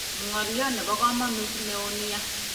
Ngolyot nebokomonut neo nia